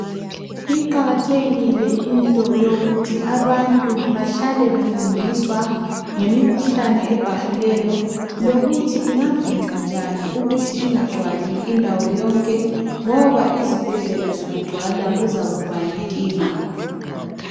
Iqakathekile into yokuthi abantu bahlale befundiswa ngemikhuhlane ebhahileyo lokuthi ingavinjwa njani ukuthi ingagcwali indawo yonke ngoba izibhedlela zingagcwala kungaba yinkinga.